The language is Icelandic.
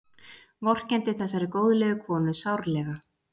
Vorkenndi þessari góðlegu konu sárlega.